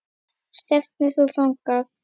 Og stefnir þú þangað?